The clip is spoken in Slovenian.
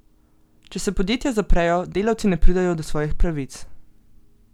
Če se podjetja zaprejo, delavci ne pridejo do svojih pravic.